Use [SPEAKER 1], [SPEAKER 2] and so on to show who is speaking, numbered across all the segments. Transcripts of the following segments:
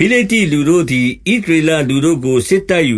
[SPEAKER 1] ဖိလိတ္တိလူတို့သည် ဣသရေလလူတို့ကို စစ်တိုက်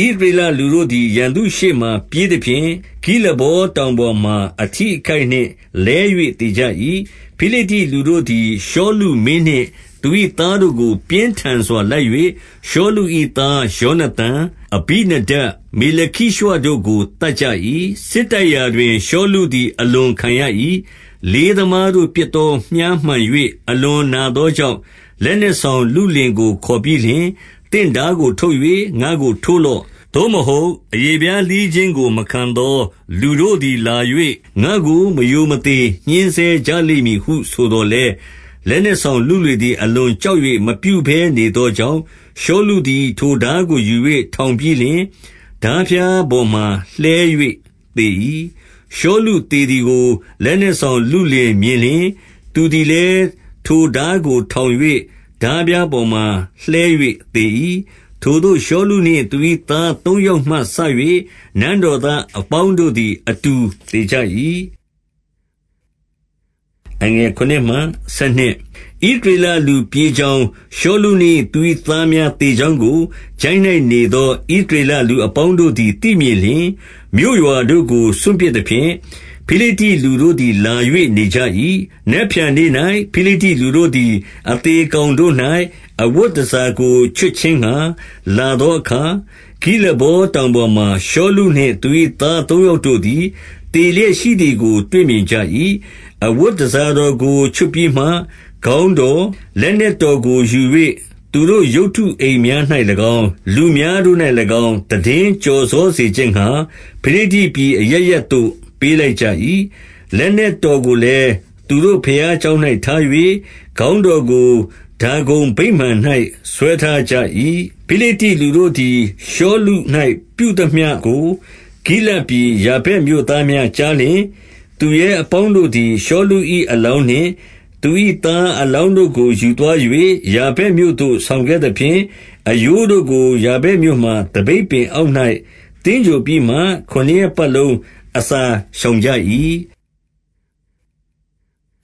[SPEAKER 1] ၍၊ ဣသရေလလူတို့သည် ရန်သူရှေ့မှာ ပြေးသဖြင့်၊ ဂိလဗောတောင်ပေါ်မှာ အထိအခိုက်နှင့် လဲ၍သေကြ၏။ 2 ဖိလိတ္တိလူတို့သည် ရှောလုမင်းနှင့် သူ၏သား တို့ကို ပြင်းထန်စွာ လိုက်၍၊ ရှောလု၏သား ယောနသန်၊ အဘိနဒပ်၊ မေလခိရွှတို့ကို သတ်ကြ၏။ 3 စစ်တိုက်ရာတွင် ရှောလုသည် အလွန်ခံရ၏။ လေးသမားတို့ ပစ်သောမြှားမှန်၍ အလွန်နာသော ကြောင့်၊ 4 လက်နက်ဆောင်လုလင်ကို ခေါ်ပြီးလျှင်၊ သင့်ထားကို ထုတ်၍ ငါ့ကိုထိုးလော့။ သို့မဟုတ် အရေ ဖျားလှီးခြင်းကို မခံသောလူတို့သည်လာ၍၊ ငါ့ကိုမရိုမသေ ညှဉ်းဆဲကြလိမ့်မည်ဟုဆိုသော်လည်း၊ လက်နက်ဆောင် လုလင်သည် အလွန်ကြောက်၍ မပြုဘဲနေသောကြောင့်၊ ရှောလုသည် ထိုထားကို ယူ၍ ထောင်ပြီးလျှင်၊ ထားဖျား ပေါ်မှာ လှဲ၍သေ၏။ 5 ရှောလုသေသည်ကို လက်နက်ဆောင်လုလင် မြင်လျှင်၊ သူသည်လည်း ထိုထားကို ထောင်၍ထားဖျား ပေါ်မှာ လှဲ၍သေ၏။ 6 ထိုသို့ရှောလုနှင့် သူ၏သားသုံးယောက်မှစ၍ နန်းတော်သားအပေါင်းတို့သည် အတူသေကြ၏။ 7 ဣသရေလလူပြေးကြောင်း၊ ရှောလုနှင့်သူ၏ သားများသေကြောင်းကို၊ ချိုင့်၌နေသော ဣသရေလ လူအပေါင်းတို့သည် သိမြင်လျှင်၊ မြို့ရွာတို့ကို စွန့်ပစ် သဖြင့်၊ ဖိလိတ္တိလူတို့သည်လာ၍ နေကြ၏။ 8 နက်ဖြန်နေ့၌ ဖိလိတ္တိလူတို့သည် အသေကောင် တို့၌၊ အဝတ်တန်ဆာကို ချွတ်ခြင်းငှါ လာသောအခါ၊ ဂိလဗောတောင်ပေါ်မှာ ရှောလုနှင့် သူ၏သား သုံး ယောက်တို့သည် သေလျက်ရှိသည်ကို တွေ့မြင်ကြ၏။ 9 အဝတ်တန်ဆာတော်ကို ချွတ်ပြီးမှ ခေါင်းတော်၊ လက်နက်တော်ကို ယူ၍ သူတို့ရုပ်တုအိမ်များ၌၎င်း၊ လူများတို့၌၎င်း၊ သိတင်းကျော်စောစေခြင်းငှါ၊ ဖိလိတ္တိ ပြည်အရပ်ရပ်သို့ ပေးလိုက်ကြ၏။ 10 လက်နက်တော်ကိုလည်း သူတို့ဘုရားကျောင်း၌ ထား၍၊ ခေါင်းတော်ကို ဒါဂုန်ဗိမာန်၌ ဆွဲထားကြ၏။ 11 ဖိလိတ္တိလူတို့သည် ရှောလု၌ပြုသမျှကို ဂိလဒ် ပြည် ယာဗက်မြို့သားများကြားလျှင်၊ 12 သူရဲအပေါင်းတို့သည် ရှောလု၏ အလောင်းနှင့် သူ၏သားအလောင်းတို့ကို ယူသွား၍၊ ယာဗက်မြို့သို့ ဆောင်ခဲ့သဖြင့်၊ အရိုးတို့ကို ယာဗက်မြို့မှာသပိတ်ပင် အောက်၌ သင်္ဂြိုဟ်ပြီးမှ ခုနစ်ရက်ပတ်လုံးအစာ ရှောင်ကြ ၏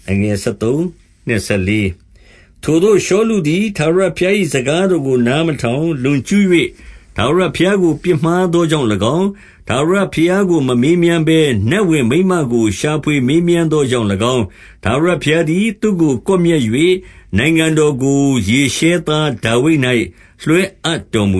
[SPEAKER 1] ။ 13 ထိုသို့ရှောလုသည် ထာဝရဘုရား၏ စကား တော်ကို နားမထောင်၊ လွန်ကျူး၍ ထာဝရဘုရားကို ပြစ်မှားသောကြောင့်၎င်း၊ 14 ထာဝရဘုရားကို မမေးမြန်းဘဲနတ်ဝင်မိန်းမကို ရှာဖွေမေးမြန်းသောကြောင့်၎င်း၊ ထာဝရဘုရားသည် သူ့ကိုကွပ်မျက်၍၊ နိုင်ငံတော်ကို ယေရှဲသားဒါဝိဒ်၌ လွှဲအပ်တော်မူ